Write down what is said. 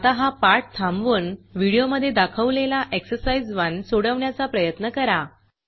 आता हा पाठ थांबवून व्हिडिओमधे दाखवलेला एक्झरसाईज 1 सोडवण्याचा प्रयत्न करा